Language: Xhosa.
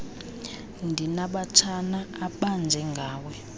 ndinabatshana abanje ngawe